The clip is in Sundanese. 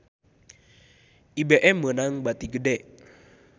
IBM meunang bati gede